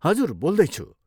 हजुर, बोल्दैछु।